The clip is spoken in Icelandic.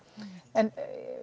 en